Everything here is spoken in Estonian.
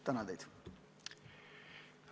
Tänan teid!